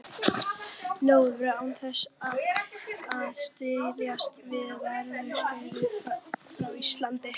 nóvember án þess að styðjast við veðurskeyti frá Íslandi.